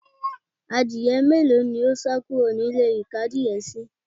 Adìye mélòó ní ó sá kúrò nílé ìkó adìye síí